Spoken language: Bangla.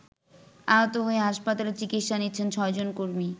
আহত হয়ে হাসপাতালে চিকিৎসা নিচ্ছেন ৬ জন কর্মী।